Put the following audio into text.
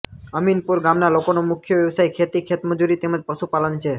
અમીનપુર ગામના લોકોનો મુખ્ય વ્યવસાય ખેતી ખેતમજૂરી તેમ જ પશુપાલન છે